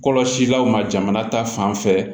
Kɔlɔsilaw ma jamana ta fan fɛ